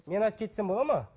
мен айтып кетсем болады ма